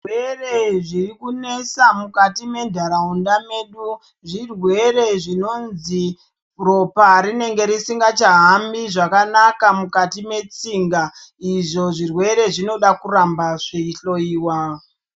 Zvirwere zvirikunesa mukati mentaraunda medu zvirwere zvinozwi ropa rinenge risingachahambi zvakanaka mukati metsinga. Izvo zvirwere zvinoda kuramba zveihloyiwa.